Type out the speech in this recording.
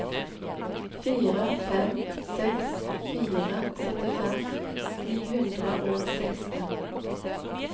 fire fem seks fire syttifem ni hundre og seksten